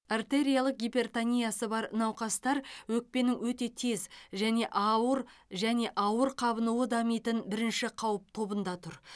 артериялық гипертониясы бар науқастар өкпенің өте тез және ауыр және ауыр қабынуы дамитын бірінші қауіп тобында тұр